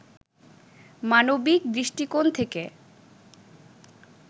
মানবিক দৃষ্টিকোণ থেকে